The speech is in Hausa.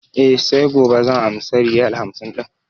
E, sai gobe zan amsa riyal hamsin ɗin.